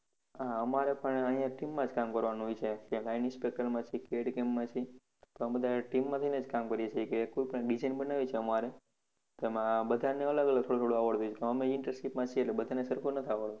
હા અમારે પણ અહિયાં team માં જ કામ કરવાનું હોય છે માં છે CADCAM માં છે તો અમે બધા team માંથીને જ કામ કરીએ છીએ કોઈ પણ design બનાવી છે અમારે તો બધાને અલગ અલગ થોડું થોડું આવડતું હોય અમે internship માં છીએ તો બધાને સરખું નથ આવડતું